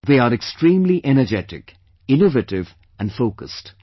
They are extremely energetic, innovative and focused